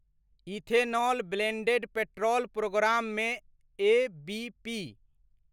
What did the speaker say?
ethanol blended petrol प्रोग्राममे ABP